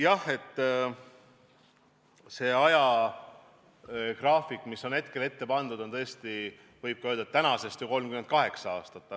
Jah, see ajagraafik, mis hetkel on meie ette pandud, ulatub tõesti tänasest 38 aasta taha.